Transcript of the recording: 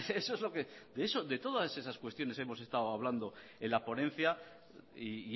de todas esas cuestiones hemos estado hablando en la ponencia y